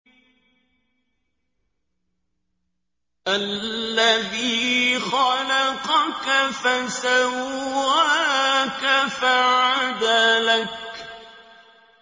الَّذِي خَلَقَكَ فَسَوَّاكَ فَعَدَلَكَ